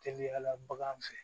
Teliyala baganw fɛ